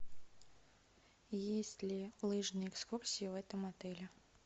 есть ли лыжные экскурсии в этом отеле